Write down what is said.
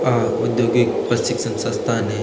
आ औद्योगिक प्रशिक्षण संस्थान है।